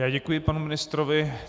Já děkuji panu ministrovi.